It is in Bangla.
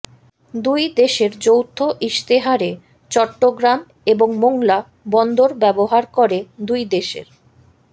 দুই দেশের যৌথ ইশতেহারে চট্টগ্রাম এবং মোংলা বন্দর ব্যবহার করে দুই দেশের